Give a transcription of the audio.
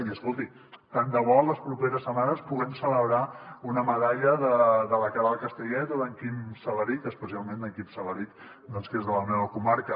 i escolti tant debò les properes setmanes puguem celebrar una medalla de la queralt castellet o d’en quim salarich especialment d’en quim salarich que és de la meva comarca